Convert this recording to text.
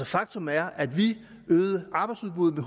faktum er at vi øgede arbejdsudbuddet